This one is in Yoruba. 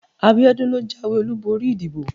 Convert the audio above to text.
abiodun lo jawé olubori ìdíbò